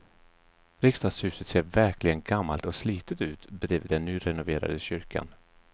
Riksdagshuset ser verkligen gammalt och slitet ut bredvid den nyrenoverade kyrkan.